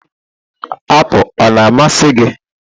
apụl ọ na-amasị gị?